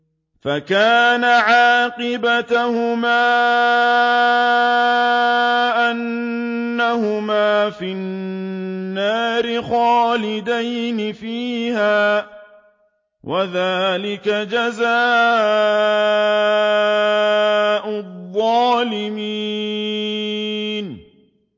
فَكَانَ عَاقِبَتَهُمَا أَنَّهُمَا فِي النَّارِ خَالِدَيْنِ فِيهَا ۚ وَذَٰلِكَ جَزَاءُ الظَّالِمِينَ